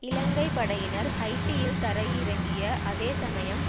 இலங்கை படையினர் ஹைட்டியில் தரையிறங்கிய அதே சமயம்